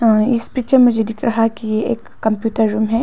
इस पिक्चर मुझे दिख रहा है कि एक कंप्यूटर रूम है।